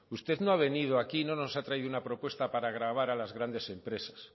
usted no ha venido aquí no nos ha traído una propuesta para gravar a las grandes empresas